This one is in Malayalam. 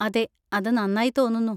അതെ, അത് നന്നായി തോന്നുന്നു.